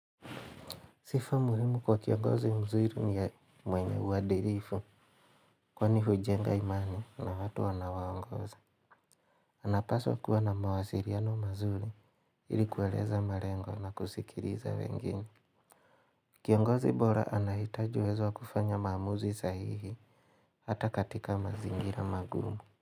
Sifa muhimu kwa kiongozi mzuri ni ya mwenye uadilifu, kwani hujenga imani na watu wanao waongoza. Unapaswa kuwa na mawasiliano mazuri, ili kueleza malengo na kusikiliza wengine. Kiongozi bora anahitaji uwezo wa kufanya maamuzi sahihi, hata katika mazingira magumu.